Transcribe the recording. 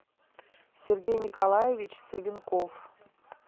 сергей николаевич савенков